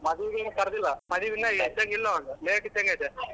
ಮದ್ವಿಗಿನ್ನು ಕರ್ದಿಲ್ಲ. ಮದ್ವಿಗಿನ್ನ late ಇದ್ದಂಗ್ ಐತೆ.